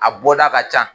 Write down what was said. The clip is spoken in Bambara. A bɔda ka ca